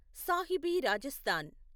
Sahibi Rajasthan